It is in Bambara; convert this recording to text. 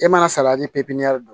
E mana salati